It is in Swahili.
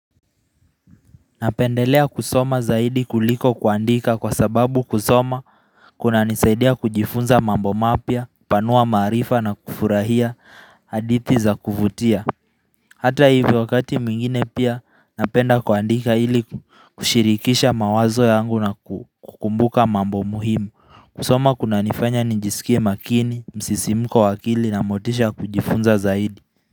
Napendelea kusoma zaidi kuliko kuandika kwa sababu kusoma kunanisaidia kujifunza mambo mapya, hupanua maarifa na kufurahia hadithi za kuvutia Hata hivyo wakati mwingine pia napenda kuandika ili kushirikisha mawazo yangu na kukumbuka mambo muhimu. Kusoma kunanifanya nijisikie makini, msisimko wa akili na motisha ya kujifunza zaidi.